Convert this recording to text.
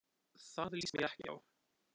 Það líst mér ekki á.